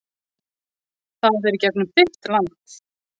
Það er í gegnum þitt land?